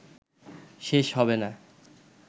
শেষ হবেনা